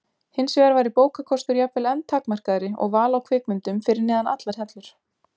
Hinsvegar væri bókakostur jafnvel enn takmarkaðri og val á kvikmyndum fyrir neðan allar hellur.